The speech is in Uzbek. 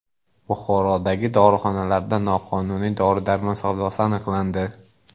Buxorodagi dorixonalarda noqonuniy dori-darmon savdosi aniqlandi.